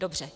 Dobře.